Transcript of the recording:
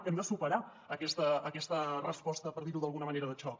hem de superar aquesta resposta per dir ho d’alguna manera de xoc